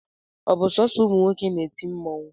ọ bu sọsọ ụmụ nwoke na-eti mmụọ?